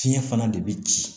Fiɲɛ fana de bi ci